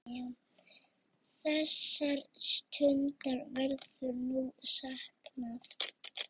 Þessara stunda verður nú saknað.